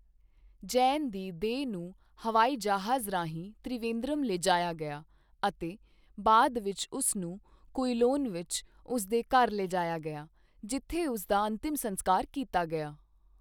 ਜੈਨ ਦੀ ਦੇਹ ਨੂੰ ਹਵਾਈ ਜਹਾਜ਼ ਰਾਹੀਂ ਤ੍ਰਿਵੇਂਦਰਮ ਲਿਜਾਇਆ ਗਿਆ ਅਤੇ ਬਾਅਦ ਵਿੱਚ ਉਸ ਨੂੰ ਕੁਈਲੋਨ ਵਿੱਚ ਉਸ ਦੇ ਘਰ ਲਿਜਾਇਆ ਗਿਆ, ਜਿੱਥੇ ਉਸ ਦਾ ਅੰਤਿਮ ਸੰਸਕਾਰ ਕੀਤਾ ਗਿਆ।